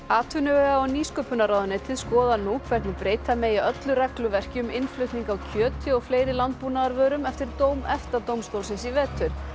atvinnuvega og nýsköpunarráðuneytið skoðar nú hvernig breyta megi öllu regluverki um innflutning á kjöti og fleiri landbúnaðarvörum eftir dóm EFTA dómstólsins í vetur